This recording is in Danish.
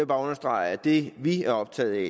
bare understrege at det vi er optaget af